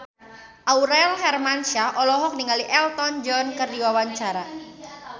Aurel Hermansyah olohok ningali Elton John keur diwawancara